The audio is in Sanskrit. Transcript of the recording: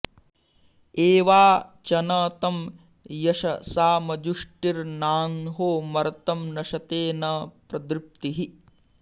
ए॒वा च॒न तं य॒शसा॒मजु॑ष्टि॒र्नांहो॒ मर्तं॑ नशते॒ न प्रदृ॑प्तिः